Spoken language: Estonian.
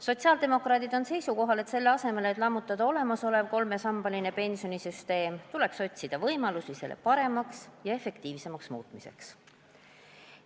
Sotsiaaldemokraadid on seisukohal, et selle asemel, et lammutada olemasolevat kolmesambalist pensionisüsteemi, tuleks otsida võimalusi selle paremaks ja efektiivsemaks muutmiseks.